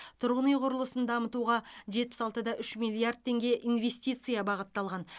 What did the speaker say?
тұрғын үй құрылысын дамытуға жетпіс алты да үш миллиард теңге инвестиция бағытталған